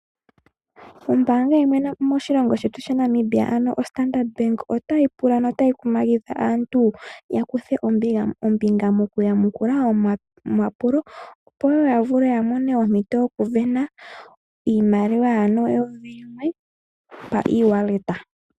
Ombaanga yimwe moshilongo shetu shaNamibia ano oStandard bank otayi pula notayi kumagidha aantu ya kuthe ombinga mo ku yamukula omapulo, po woo ya vule ya mone ompito yokusindana iimaliwa ano eyovi limwe pa e-wallet.